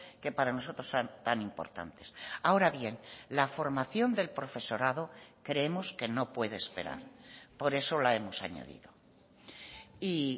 que para nosotros tan importantes ahora bien la formación del profesorado creemos que no puede esperar por eso la hemos añadido y